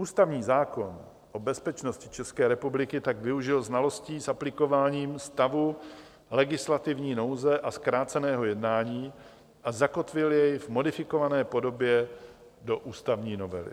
Ústavní zákon o bezpečnosti České republiky tak využil znalostí s aplikováním stavu legislativní nouze a zkráceného jednání a zakotvil jej v modifikované podobě do ústavní novely.